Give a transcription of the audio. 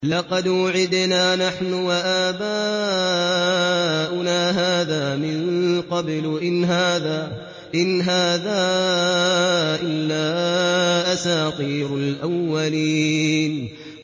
لَقَدْ وُعِدْنَا نَحْنُ وَآبَاؤُنَا هَٰذَا مِن قَبْلُ إِنْ هَٰذَا إِلَّا أَسَاطِيرُ الْأَوَّلِينَ